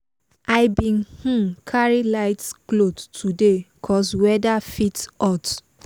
i bin um carry light cloth today cos weather fit hot